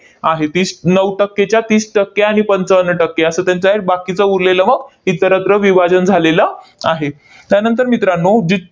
आहे. तीस नऊ टक्केच्या तीस टक्के आणि पंचावन्न टक्के असं त्यांचं आहे. बाकीचं उरलेलं मग इतरत्र विभाजन झालेलं आहे. त्यानंतर मित्रांनो, दीद